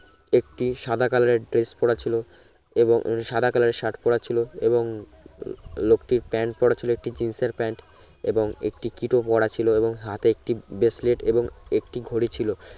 একটি সাদা color এর dress পরা ছিলো এবং সাদা color এর সার্ট পরা ছিলো এবং লোকটির প্যান্ট পরাছিলো একটি জিন্সের প্যান্ট এবং একটি kito পরা ছিলো হতে একটি bracelet এবং একটি ঘড়ি ছিলো